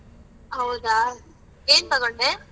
ಹೌದಾ ಏನ್ ತೊಗೊಂಡೆ?